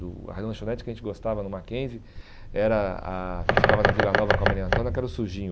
A lanchonete que a gente gostava no Mackenzie era a, que ficava na Vila Nova com a Maria Antônia, que era o sujinho.